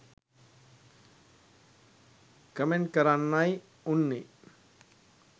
Comment කරන්නයි උන්නේ.